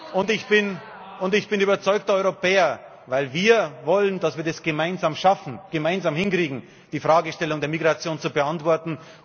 und ich bin überzeugter Europäer. Weil wir wollen, dass wir das gemeinsam schaffen, dass wir das gemeinsam hinkriegen, die Fragestellung der Migration zu beantworten.